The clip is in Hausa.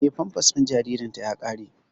Eh, famfas din jaririn ta ƙare